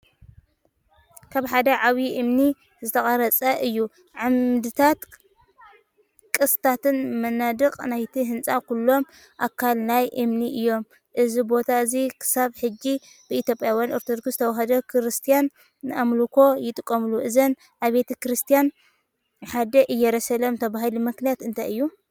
ካብ ሓደ ዓብዪ እምኒ ዝተቐርፀ እዩ፤ ዓምድታትን ቅስትታትን መናድቕን ናይቲ ህንጻ ኩሎም ኣካል ናይቲ እምኒ እዮም። እዚ ቦታ እዚ ክሳብ ሕጂ ብኢትዮጵያውያን ኦርቶዶክስ ተዋህዶ ክርስትያን ንኣምልኾ ይጥቀሙሉ። እዘን ኣብያተ ክርስቲያናት "ሓዳስ ኢየሩሳሌም" ዝባሃላሉ ምኽንያት እንታይ እዩ?